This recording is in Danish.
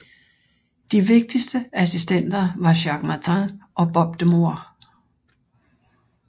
De vigtigste assistenter var Jacques Martin og Bob de Moor